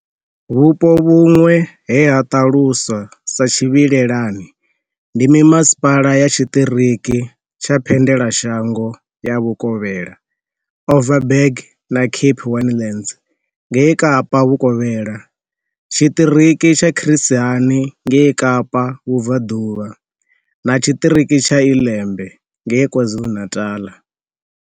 Vhupo vhuṅwe he ha ṱaluswa sa tshivhilelani ndi mimasipala ya tshiṱiriki tsha Phendelashango ya Vhukovhela, Overberg na Cape Winelands ngei Kapa Vhukovhela, tshiṱiriki tsha Chris Hani ngei Kapa Vhubvaḓuvha, na tshiṱiriki tsha iLembe ngei KwaZulu-Natal.